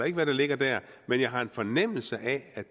ikke hvad der ligger der men jeg har en fornemmelse af